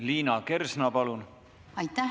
Liina Kersna, palun!